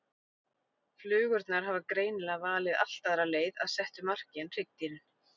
Flugurnar hafa greinilega valið allt aðra leið að settu marki en hryggdýrin.